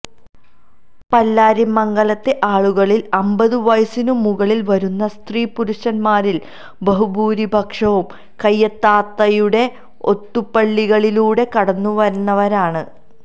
പല്ലാരിമംഗലത്തെ ആളുകളില് അമ്പത് വയസ്സിനു മുകളില് വരുന്ന സ്ത്രീ പുരുഷന്മാരില് ബഹുഭൂരിപക്ഷവും കയ്യത്താത്തയുടെ ഓത്തുപള്ളികളിലൂടെ കടന്നുവന്നവരാണ്